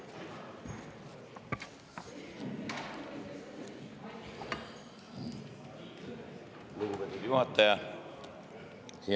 Lugupeetud juhataja!